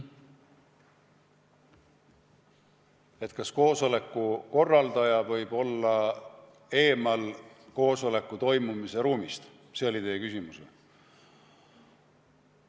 Et kas koosoleku korraldaja võib olla eemal, mitte koosolekuruumis?